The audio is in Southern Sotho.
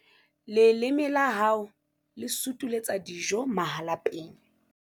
leleme la hao le sutuletsa dijo mahalapeng